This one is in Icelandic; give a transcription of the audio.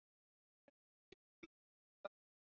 Rigning sunnanlands í dag